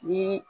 Ni